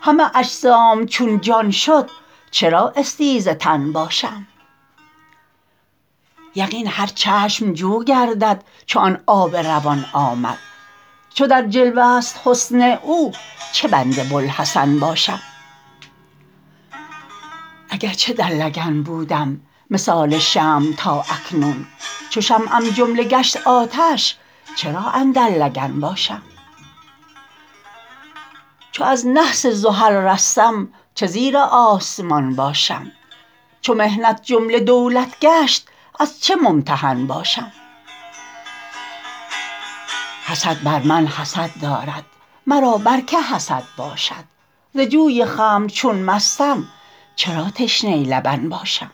همه اجسام چون جان شد چرا استیزه تن باشم یقین هر چشم جو گردد چو آن آب روان آمد چو در جلوه ست حسن او چه بند بوالحسن باشم اگر چه در لگن بودم مثال شمع تا اکنون چو شمعم جمله گشت آتش چرا اندر لگن باشم چو از نحس زحل رستم چه زیر آسمان باشم چو محنت جمله دولت گشت از چه ممتحن باشم حسد بر من حسد دارد مرا بر کی حسد باشد ز جوی خمر چون مستم چرا تشنه لبن باشم